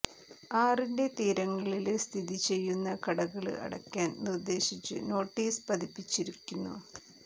ആറിന്റെ തീരങ്ങളില് സ്ഥിതി ചെയ്യുന്ന കടകള് അടയ്ക്കാൻ നിർദ്ദേശിച്ച് നോട്ടീസ് പതിപ്പിച്ചിരിക്കുന്നു